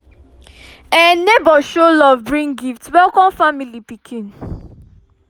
um neighbors show love bring gifts welcome family pikin